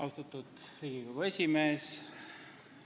Austatud Riigikogu esimees!